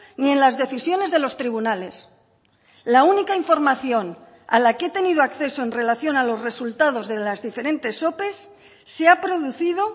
ni en las decisiones de los tribunales la única información a la que he tenido acceso en relación a los resultados de las diferentes ope se ha producido